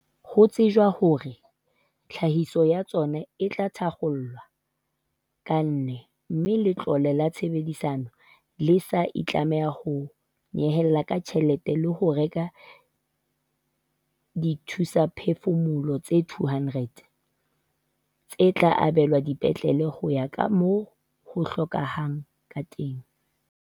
Ho tshetjwa hore tlhahiso ya tsona e tla thakgolwa ka ne mme Letlole la Tshehetsano le se le itlamme ka ho nyehela ka tjhelete ya ho reka dithusaphefumoloho tse 200, tse tla abelwa dipetlele ho ya ka moo ho hlokehang ka teng.